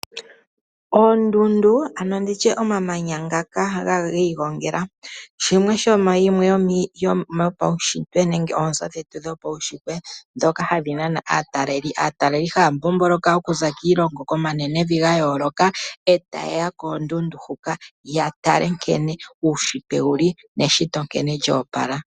Oondundu ano nditye omamanya ngaka ga igongela, shimwe sho paushitwe nenge oonzo dhetu dhopaushitwe ndhoka hadhi nana aataleli. Aataleli haya mbomboloka okuza kiilongo komanenevi ga yooloka, e taye ya koondundu hoka ya tale nkene uushitwe wu li neshito nkene lya opala.